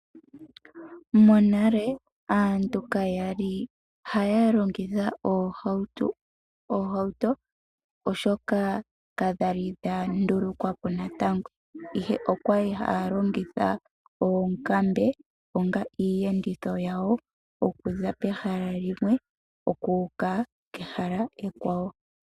Monale aantu kayali haya longitha oohauto, oshoka kadhali dha ndulukwa po natango, ihe okwali haya longitha oonkambe onga iiyenditho yawo, okuza pehala limwe okuuka kehala ekwawo.